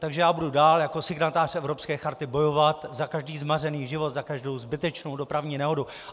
Takže já budu dál jako signatář Evropské charty bojovat za každý zmařený život, za každou zbytečnou dopravní nehodu.